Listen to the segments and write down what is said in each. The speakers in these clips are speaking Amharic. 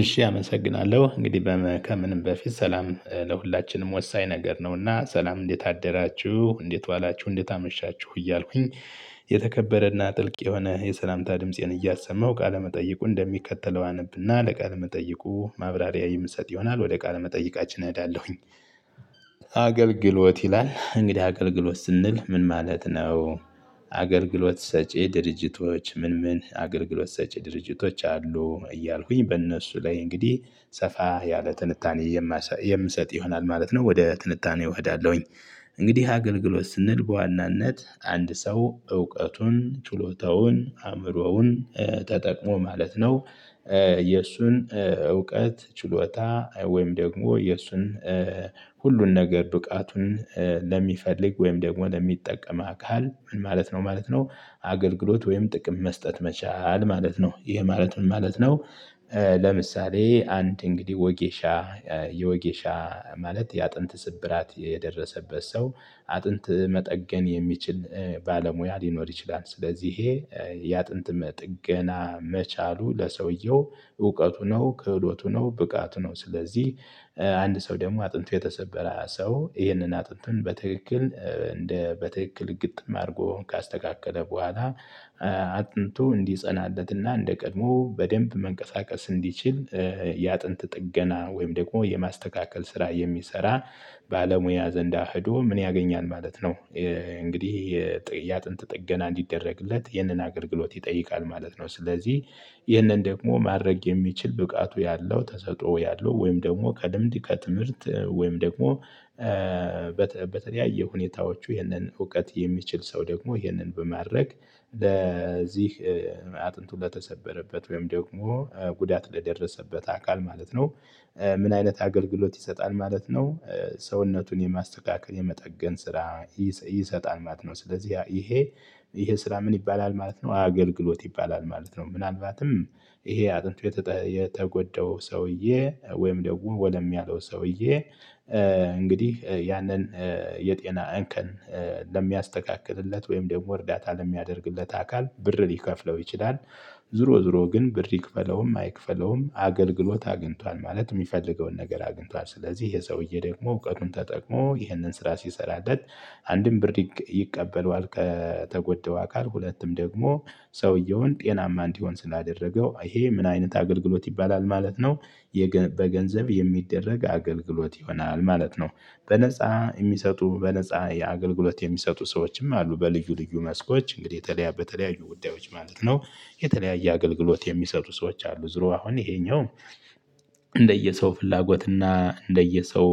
እሺ አመሰግናለሁ እንግዲህ ከምንም በፊት ሰላም ለሁላችንም ወሳኝ ነገር ነውና ሰላም እንዴት አደራችሁ እንዴት ዋላችሁ እንዴት አመሻችሁ እያልኩኝ። የተከበረና ጥልቅ የሆነ የሰላምታ ድምፄን እያሰማሁ ቃለመጠይቁ እንደሚከተለው አነብና ለቃለመጠይቁ ማብራሪያ የምሰጥ ይሆናል ወደ ቃለመጠይቃችን እዳለሁኝ። አገልግሎት ይላል እንግዲህ አገልግሎት ስንል ምን ማለት ነው? አገልግሎት ሰጪ ድርጅቶች ምን ምን አገልግሎት ሰጪ ድርጅቶች አሉ እያልኩኝ በእነሱ ላይ እንግዲህ ሰፋ ያለ ትንታኔ የምሰጥ ይሆናል ማለት ነው ወደ ትንታኔው እሄዳለሁኝ። እንግዲህ አገልግሎት ስንል በዋናነት አንድ ሰው እውቀቱን ችሎታውን አእምሮውን ተጠቅሞ ማለት ነው። የእሱን እውቀት ችሎታ ወይም ደግሞ የእሱን ሁሉን ነገር ብቃቱን ለሚፈልግ ወይም ደግሞ ለሚጠቀም አካል ምን ማለት ነው ማለት ነው አገልግሎት ወይም ጥቅም መስጠት መቻል ማለት ነው ይሄ ማለት ምን ማለት ነው? ለምሳሌ አንድ እንግዲህ ወጌሻ የወጌሻ ማለት የአጥንት ስብራት የደረሰበት ሰው አጥንት መጠገን የሚችል ባለሙያ ሊኖር ይችላል። ስለዚህ ይሄ የአጥንት ጥገና መቻሉ ለሰውየው እውቀቱ ነው ክህሎቱ ነው ብቃቱ ነው ስለዚህ አንድ ሰው ደግሞ አጥንት የተሰበረ ሰው ይህንን አጥንትን በትክክል እንደ በትክክል ግጥም አድርጎ ካስተካከለ በኋላ አጥንቱ እንዲጸናለትና እንደ ቀድሞ በደንብ መንቀሳቀስ እንዲችል የአጥንት ጥገና ወይም ደግሞ የማስተካከል ስራ የሚሰራ ባለሙያ ዘንዳ ሄዶ ምን ያገኛል ማለት ነው? እንግዲህ የአጥንት ጥገና እንዲደረግለት ይህንን አገልግሎት ይጠይቃል ማለት ነው። ስለዚህ ይህንን ደግሞ ማድረግ የሚችል ብቃቱ ያለው ተሰጥኦ ያለው ወይም ደግሞ ከልምድ ከትምህርት ወይም ደግሞ በተለያዩ ሁኔታዎቹ ይህንን እውቀት የሚችል ሰው ደግሞ ይህንን በማድረግ ለዚህ አጥንቱ ለተሰበረበት ወይም ደግሞ ጉዳት ለደረሰበት አካል ማለት ነው። ምን አይነት አገልግሎት ይሰጣል ማለት ነው? ሰውነቱን የማስተካከል የመጠገን ስራ ይሰጣል ማለት ነው። ስለዚህ ይሄ ይሄ ስራ ምን ይባላል ማለት ነው? አገልግሎት ይባላል ማለት ነው። ምናልባትም ይሄ አጥንት የተጎደው ሰውዬ ወይም ደግሞ ወለም ያለው ሰውዬ እንግዲህ ያንን የጤና እንከን ለሚያስተካክልለት ወይም ደግሞ እርዳታ ለሚያደርግለት አካል ብር ሊከፍለው ይችላል። ዝሮ ዝሮ ግን ብር ይክፈለውም አይክፈለውም አገልግሎት አግኝቷል ማለት የሚፈልገውን ነገር አግኝቷል ስለዚህ ይሄ ሰውዬ ደግሞ እውቀቱን ተጠቅሞ ይህንን ስራ ሲሰራለት። አንድም ብር ይቀበለዋል ከተጎዳው አካል ሁለትም ደግሞ ሰውየውን ጤናማ እንዲሆን ስላደረገው ይሄ ምን አይነት አገልግሎት ይባላል ማለት ነው? በገንዘብ የሚደረግ አገልግሎት ይሆናል ማለት ነው። በነፃ የሚሰጡ በነፃ የአገልግሎት የሚሰጡ ሰዎችም አሉ በልዩ ልዩ መስኮች እንግዲህ የተለያዩ በተለያዩ ጉዳዮች ማለት ነው። የተለያየ አገልግሎት የሚሰጡ ሰዎች አሉ ዙሮ አሁን ይሄኛው ፍላጎትና እንደየሰው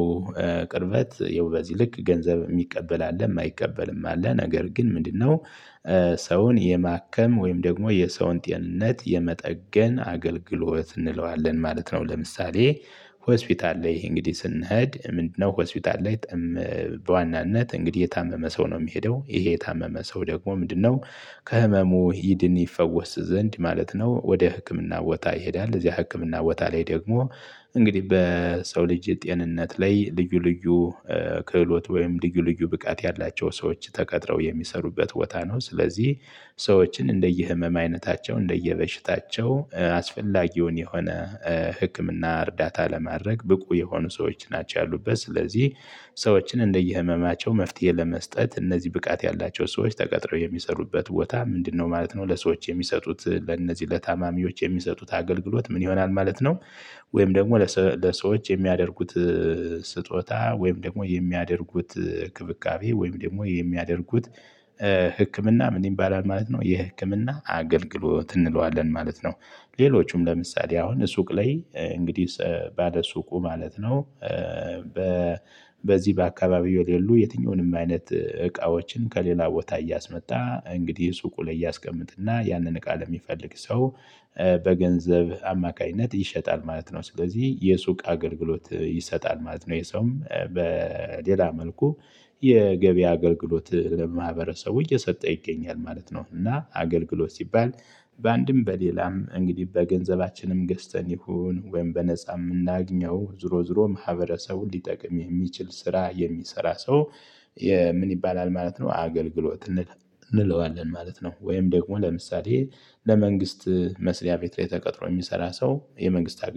ቅርበት ያው በዚ ልክ ይልቅ ገንዘብ የሚቀበል አለ የማይቀበልም አለ ነገር ግን ምንድነው? ሰውን የማከም ወይም ደግሞ የሰውን ጤንነት የመጠገን አገልግሎት እንለዋለን ማለት ነው። ለምሳሌ ሆስፒታል ላይ ይሄ እንግዲህ ስንሄድ ምንድነው ሆስፒታል ላይ? በዋናነት እንግዲህ የታመመ ሰው ነው የሚሄደው ይሄ የታመመ ሰው ደግሞ ምንድነው? ከህመሙ ይድን ይፈወስ ዘንድ ማለት ነው። ወደ ህክምና ቦታ ይሄዳል እዚያ ህክምና ቦታ ላይ ደግሞ እንግዲህ በሰው ልጅ ጤንነት ላይ ልዩ ልዩ ክህሎት ወይም ልዩ ልዩ ብቃት ያላቸው ሰዎች ተቀጥረው የሚሰሩበት ቦታ ነው። ስለዚህ ሰዎችን እንደየህመም አይነታቸው እንደየበሽታቸው አስፈላጊውን የሆነ ህክምና እርዳታ ለማድረግ ብቁ የሆኑ ሰዎች ናቸው ያሉበት ስለዚህ። ሰዎችን እንደየህመማቸው መፍትሄ ለመስጠት እነዚህ ብቃት ያላቸው ሰዎች ተቀጥረው የሚሰሩበት ቦታ ምንድነው ማለት ነው? ለሰዎች የሚሰጡት ለነዚህ ለታማሚዎች የሚሰጡት አገልግሎት ምን ይሆናል ማለት ነው? ወይም ደግሞ ለሰዎች የሚያደርጉት ስጦታ ወይም ደግሞ የሚያደርጉት ክብካቤ ወይም ደግሞ የሚያደርጉት ህክምና ምን ይባላል ማለት ነው? የህክምና አገልግሎት እንለዋለን ማለት ነው። ሌሎቹም ለምሳሌ አሁን ሱቅ ላይ እንግዲህ ባለሱቁ ማለት ነው። በዚህ በአካባቢው የሌሉ የትኛውንም አይነት እቃዎችን ከሌላ ቦታ እያስመጣ እንግዲህ ሱቁ ላይ እያስቀመጥና ያንን ቃል የሚፈልግ ሰው በገንዘብ አማካኝነት ይሸጣል ማለት ነው። ስለዚህ የሱቅ አገልግሎት ይሰጣል ማለት ነው። ይህ ሰውም በሌላ መልኩ የገቢ አገልግሎት ለማህበረሰቡ እየሰጠ ይገኛል ማለት ነው። እና አገልግሎት ሲባል በአንድም በሌላም እንግዲህ በገንዘባችንም ገዝተን ይሁን ወይም በነፃ የምናገኘው ዝሮ ዝሮ ማህበረሰቡን ሊጠቅም የሚችል ስራ የሚሰራ ሰው። ምን ይባላል ማለት ነው አገልግሎት እንለዋለን ማለት ነው። ወይም ደግሞ ለምሳሌ ለመንግስት መስሪያ ቤት ላይ ተቀጥሮ የሚሰራ ሰው የመንግስት